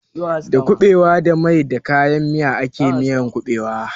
Da kuɓewa da mai da kayan miya ake miyan ƙuɓewa.